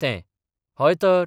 तें हय तर.